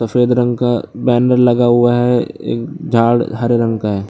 सफेद रंग का बैनर लगा हुया है एक झाड़ हरे रंग का है।